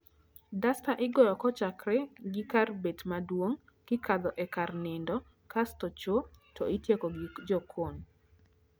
Dasta igoyo kochakre gi kar bet maduong' , kikadho e kar nindo, kasto choo to itieko gi jokon